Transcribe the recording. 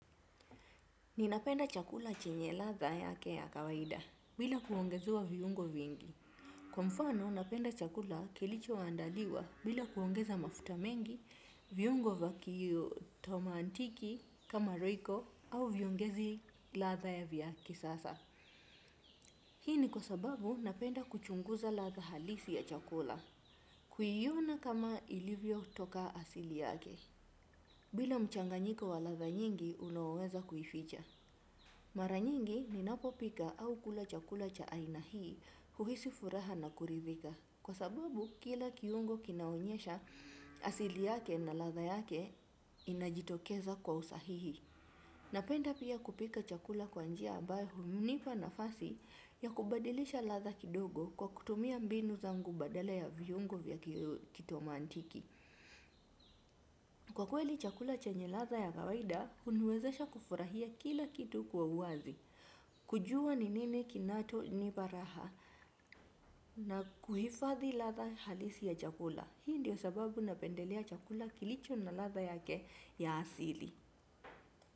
Ninapenda chakula chenye ladha yake ya kawaida bila kuongezewa viungo vingi. Kwa mfano, napenda chakula kilicho andaliwa bila kuongeza mafuta mengi, viungo vya tomantiki kama royco au viongezi ladha ya vya kisasa. Hii ni kwa sababu napenda kuchunguza ladha halisi ya chakula. Kuiona kama ilivyotoka asili yake. Bila mchanganyiko wa ladha nyingi, unaoweza kuificha. Mara nyingi ninapo pika au kula chakula cha aina hii huhisi furaha na kuridhika. Kwa sababu kila kiungo kinaonyesha asili yake na ladha yake inajitokeza kwa usahihi. Napenda pia kupika chakula kwa njia ambayo hunipa nafasi ya kubadilisha ladha kidogo kwa kutumia mbinu zangu badala ya viungo vya kitomantiki. Kwa kweli chakula chenye ladha ya kawaida huniwezesha kufurahia kila kitu kwa uwazi. Kujua ni nini kinacho nipa raha na kuhifadhi ladha halisi ya chakula. Hii ndio sababu napendelea chakula kilicho na ladha yake ya asili.